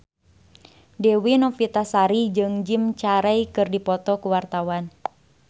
Dewi Novitasari jeung Jim Carey keur dipoto ku wartawan